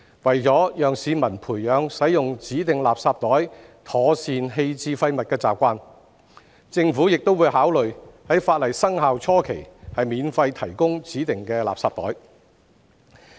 為了讓市民培養使用指定垃圾袋妥善棄置廢物的習慣，政府亦會考慮在法例生效初期免費提供指定垃圾袋。